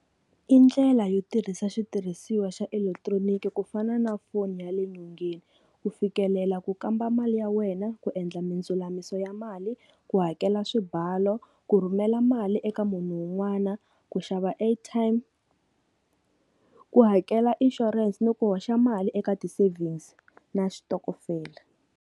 I ndlela yo tirhisa xitirhisiwa xa elekitroniki, ku fana na foni ya le nyongeni, ku fikelela ku kamba mali ya wena, ku endla mindzulamiso ya mali, ku hakela swibalo, ku rhumela mali eka munhu wun'wana, ku xava airtime, ku hakela insurance ni ku hoxa mali eka ti-savings na xitokofela.